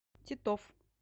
титов